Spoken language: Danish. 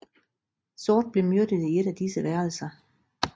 Sort blev myrdet i ét af disse værelser